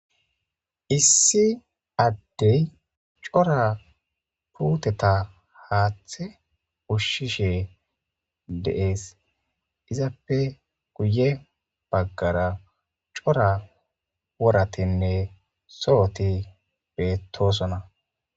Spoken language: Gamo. Issi adey c'ora puteta hate ushishe de'es izappe guye bagara c'ora woratinne sohoti betosona.